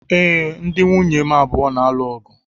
Ee, ndi nwụnye m abụọ na-alụ ọgụ.